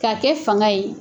K'a kɛ fanga ye.